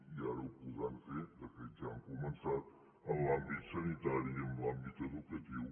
i ara ho podran fer de fet ja han començat en l’àmbit sanitari i en l’àmbit educatiu